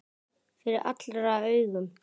Fyrir allra augum!